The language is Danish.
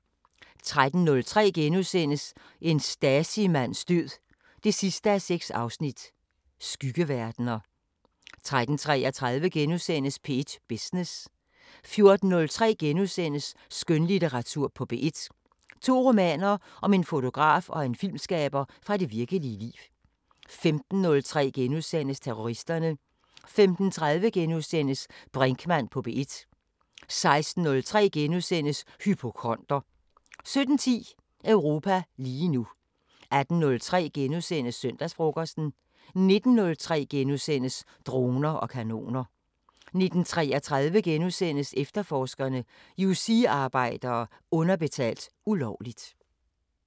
13:03: En Stasi-mands død 6:6: Skyggeverdener * 13:33: P1 Business * 14:03: Skønlitteratur på P1: To romaner om en fotograf og en filmskaber fra det virkelige liv * 15:03: Terroristerne * 15:30: Brinkmann på P1 * 16:03: Hypokonder * 17:10: Europa lige nu 18:03: Søndagsfrokosten * 19:03: Droner og kanoner * 19:33: Efterforskerne: Yousee-arbejdere underbetalt ulovligt *